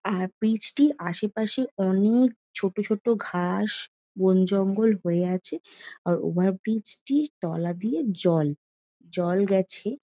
আর bridge টির আশেপাশে অনেক ছোট ছোট ঘাস বনজঙ্গল হয়ে আছে আর ওভারব্রিজ টির তলা দিয়ে জল জল গেছে।